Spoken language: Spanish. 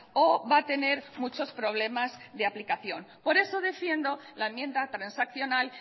o va a tener muchos problemas de aplicación por eso defiendo la enmienda transaccional